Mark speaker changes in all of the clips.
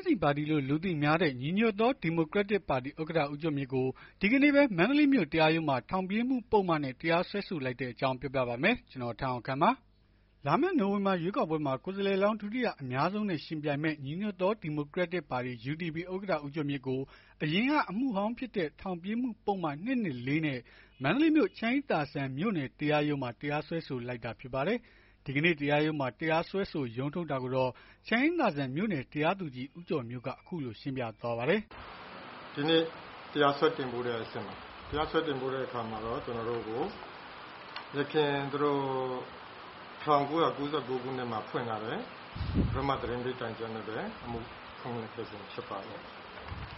Speaker 1: င်းဆီပါတီလို့ လူသိများတဲ့ ညီညွတ်သော ဒီမိုကရက်တစ်ပါတီ ဥက္ကဋ္ဌ ဦးကျော်မြင့်ကို ဒီကနေ့ပဲ မန္တလေးမြို့ တရားရုံးမှာ ထောင်ပြေးမှု ပုဒ်မနဲ့ တရားစွဲဆိုလိုက်တဲ့ အကြောင်းပြောပြပါမယ်။ ဗွီအိုအေမြန်မာပိုင်းသတင်းထောက် ကိုထက်အောင်ခန့်က သတင်းပေးပို့ထားပါတယ်။ လာမယ့် နိုဝင်ဘာလ ရွေးကောက်ပွဲမှာ ကိုယ်စားလှယ်လောင်း ဒုတိယ အများဆုံးနဲ့ ယှဉ်ပြိုင်မယ့် ညီညွတ်သော ဒီမိုကကရက်တစ်ပါတီ ဥက္ကဋ္ဌ ဦးကျော်မြင့်ကို အရင်ကအမှုဟောင်းဖြစ်တဲ့ ထောင်ပြေးမှု ပုဒ်မ - ၂၂၄ နဲ့ မန္တလေးမြို့ ချမ်းအေးသာစံ မြို့နယ်တရားရုံးမှာ တရားစွဲလိုက်တာဖြစ်ပါတယ်။ ဒီကနေ့ တရားရုံးမှာ တရားစွဲဆို ရုံးထုတ်ခဲ့တာကိုတော့ ချမ်းအေးသာစံ မြို့နယ် တရားသူကြီး ဦးကျော်မျိုးဝင်းက အခုလို ရှင်းပြသွားပါတယ်။
Speaker 2: “ဒီနေ့ တရားစွဲတင်ပို့တဲ့အဆင့်ပါ။ တရားစွဲတင်ပို့တဲ့အခါမှာတော့ ကျနော်တို့ကို ယခင် ၁၉၉၉ ခုနှစ်မှာ ဖွင့်ထားတဲ့ ပထမ သတင်းပေးတိုင်ချက်နဲ့ပဲ အမှုဖွင့်ထားခြင်းဖြစ်ပါတယ်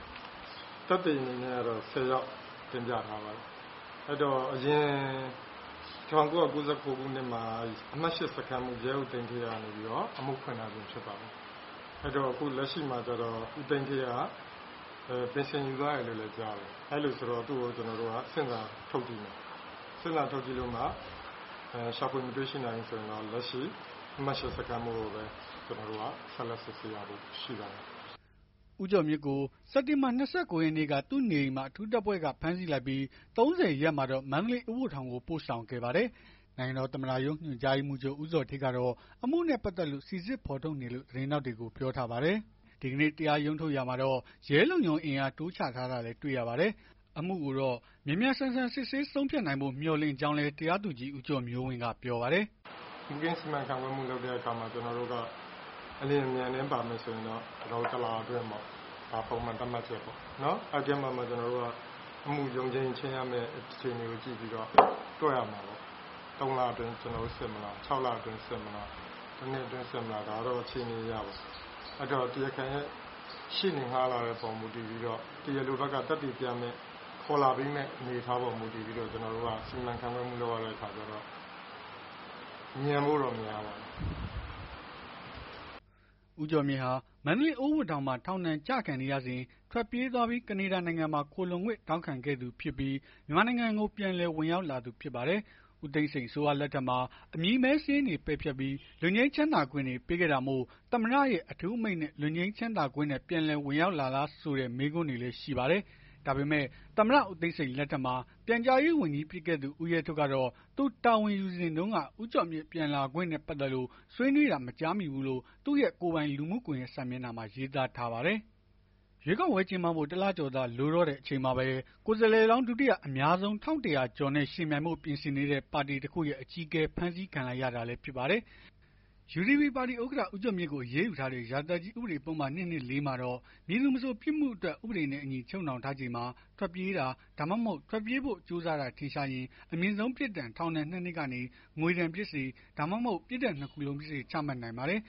Speaker 2: ။ သက်သေအနေနဲ့က ၁၀ ယောက် တင်ပြထားပါတယ်။ အရင် ၁၉၉၉ ခုနှစ်မှာ အမှတ် စခန်းမှူး ရဲအုပ် သိန်းဌေးကနေပြီးတော့ အမှုဖွင့်ထားခြင်း ဖြစ်ပါတယ်။ အဲဒီတော့ အခုလက်ရှိမှာကျတော့ ပြင်ဆင် ယူသွားတယ်လို့လည်း ကြားတယ်။ အဲ့တော့ သူ့ကို ကျနော်တို့က ဆင့်ခေါ်စာ ထုတ်ပေးမယ်။ ဆင့်စာထုတ်ပြီးတော့မှ ရှာဖွေ မတွေ့ရှိနိုင်ဘူးဆိုရင်တော့ လက်ရှိ အမှတ် စခန်းမှူးကိုပဲ ဆက်လက် စစ်ဆေးရဖို့ရှိပါတယ်။”
Speaker 1: ဦးကျော်မြင့်ကို စက်တင်ဘာ ၂၉ ရက်နေ့က သူ့နေအိမ်မှာ အထူးတပ်ဖွဲ့က ဖမ်းဆီးလိုက်ပြီး ၃၀ ရက်နေ့မှာတော့ မန္တလေး အိုးဘိုထောင်ကို ပို့ဆောင်ခဲ့ပါတယ်။ နိုင်ငံတော်သမ္မတရုံး ဦးဇော်ဌေးကတော့ အမှုနဲ့ ပတ်သက်လို့ စိစစ် ဖော်ထုတ်နေတယ်လို့ သတင်းထောက်တွေကို ပြောထားပါတယ်။ ဒီကနေ့ တရားရုံးထုတ်ရာမှာတော့ ရဲလုံခြုံရေးအင်အား တိုးချထားတာလည်း တွေ့ရပါတယ်။ အမှုကိုတော့ မြန်မြန်ဆန်ဆန် စစ်ဆေးဆုံးဖြတ်နိုင်ဖို့ မျှော်လင့်ကြောင်းလည်း တရားသူကြီး ဦးကျော်မျိုးဝင်းက ပြောပါတယ်။ “မှုခင်း စီမံခန့်ခွဲမှုလုပ်တဲ့အခါမှာ အလျင်အမြန်ဆို ကျနော်တို့ တလ
Speaker 2: အတွင်းပေါ့။ အဲ့ဒီထဲမှာ ကျနော်တို့ က အမှုရုံးချိန်း ချိန်းရမယ့် အချိန်ကို ကြည့်ပြီးတော့ တွက်ရမှာပေါ့။ ၃ လအတွင်း စစ်မလား ၆ လအတွင်း စစ်မလား ၁ နှစ်အတွင်း စစ်မလား၊ ဒါကတော့အခြေအနေအရပေါ့။ အဲ့ဒီတော့ တရားခံရဲ့ ရှေ့နေငှားလာတဲ့အပေါ် မူတည်ပြီးတော့ သက်သေပြမယ့်၊ ခေါ်လာပေးမယ့် အနေအထားအပေါ် မူတည်ပြီးတော့ လုပ်ရတဲ့အခါကျတော့ မြန်ဖို့
Speaker 1: တော့ များပါတယ်။” ဦးကျော်မြင့်ဟာ မန္တလေးအိုးဘိုထောင်မှာ ထောင်ဒဏ်ကျခံနေရစဉ် ထွက်ပြေးသွားပြီး ကနေဒါနိုင်ငံမှာ ခိုလှုံခွင့် တောင်းခံခဲ့သူဖြစ်ပြီးဖြစ်ပြီး မြန်မာနိုင်ငံကို ပြန်လည်ဝင်ရောက်လာသူဖြစ်ပါတယ်။ ဦးသိန်းစိန် အစိုးရလက်ထက်မှာ အမည်မဲစာရင်းတွေကို ပယ်ဖျက်ပြီး လွတ်ငြိမ်းချမ်းသာ ခွင့်တွေ ပေးခဲ့တာမို့ သမ္မတရဲ့ အထူးအမိန့်နဲ့ လွတ်ငြိမ်းချမ်းသာခွင့်နဲ့ ပြန်လည် ဝင်ရောက်လာတာလားဆိုတဲ့ မေးခွန်းတွေလည်းရှိပါတယ်။ ဒါပေမဲ့ သမ္မတ ဦးသိန်းစိန်လက်ထက်မှာ ပြန်ကြားရေးဝန်ကြီး ဖြစ်ခဲ့သူ ဦးရဲထွဋ်ကတော့ သူတာဝန်ယူစဉ်တုန်းက ဦးကျော်မြင့် ပြန်လာခွင့်နဲ့ ပတ်သက်လို့ ဆွေးနွေးတာ မကြားမိဘူးလို့ သူ့ရဲ့ကိုယ်ပိုင် လူမှု ကွန်ယက် စာမျက်နှာမှာ ရေးသားထားပါတယ်။ ရွေးကောက်ပွဲ ကျင်းပဖို့ ၁ လကျော်သာ လိုတော့တဲ့ အချိန်မှာပဲ ကိုယ်စားလှယ်လောင်း ဒုတိယအများဆုံး ၁,၁၀၀ ကျော်နဲ့ ယှဉ်ပြိုင်ဖို့ ပြင်ဆင်နေတဲ့ ပါတီတခုရဲ့ အကြီးအကဲ ဖမ်းဆီးခံလိုက်ရတာလည်း ဖြစ်ပါတယ်။ UDP ပါတီဥက္ကဋ္ဌ ဦးကျော်မြင့်ကို အရေးယူထားတဲ့ ရာဇသတ်ကြီး ဥပဒေပုဒ်မ ၂၂၄ မှာတော့၊ မည်သူမဆို ပြစ်မှုအတွက် ဥပဒေနဲ့အညီ ချုပ်နှောင်ထားချိန်မှာ ထွက်ပြေးတာ ဒါမှမဟုတ် ထွက်ပြေးဖို့ ကြိုးစားတာ ထင်ရှားရင်၊ အမြင့်ဆုံးပြစ်ဒဏ် ထောင်ဒဏ် ၂ နှစ်ကနေ ငွေဒဏ်ဖြစ်စေ၊ ဒါမှမဟုတ် ပြစ်ဒဏ် ၂ ခုစလုံးဖြစ်စေ ချမှတ်နိုင်ပါတယ်